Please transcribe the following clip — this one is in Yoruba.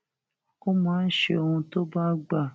ó máa ń ṣe ohun tó bá gbà